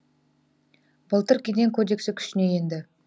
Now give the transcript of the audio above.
былтыр кеден кодексі күшіне енді